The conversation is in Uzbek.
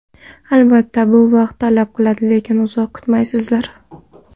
Albatta bu vaqt talab qiladi, lekin uzoq kutmaysizlar.